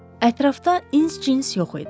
Ətrafda ins-cins yox idi.